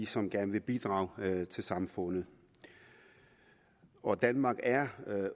som gerne vil bidrage til samfundet og danmark er